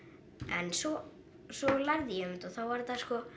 en svo svo lærði ég um þetta og þá var þetta sko